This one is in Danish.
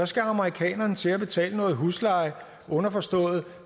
skal amerikanerne til at betale noget husleje underforstået at